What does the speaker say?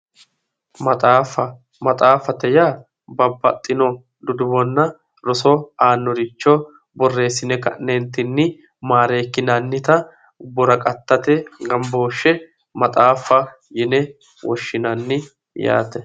maxaaffa maxaaffate yaa babbaxino duduwonna roso aannoricho borreessine ka'neentinni maareekkinannita woraqqattate gambooshshe maxaaffate yine woshshinanni yaate.